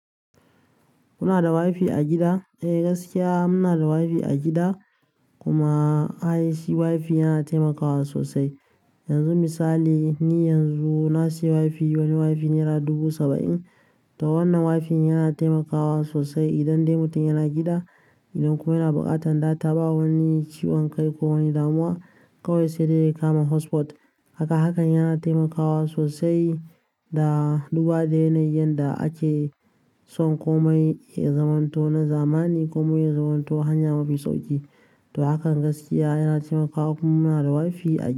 Kuna da WiFi a gida? Eh, gaskiya muna da WiFi a gida. Kuma I.T WiFi yana taimakawa sosai. Yanzu misali ni yanzu na sayi WiFi, wani WiFi nera dubu saba'in. To wannan WiFi yana taimakawa sosai idan dai mutum yana gida, idan kuma yana buƙatar data ba wani ciwon kai ko wani damuwa. Kawai sai dai ya kama hotspot. Haka hakan yana taimakawa sosai da duba da yanayin da ake son komai ya zamanto na zamani komai ya zamanto hanya mafi sauƙi. To hakan gaskiya yana taimakawa. Kuma muna da WiFi a gida.